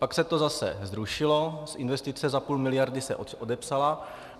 Pak se to zase zrušilo, investice za půl miliardy se odepsala.